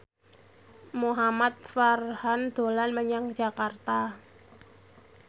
Muhamad Farhan dolan menyang Jakarta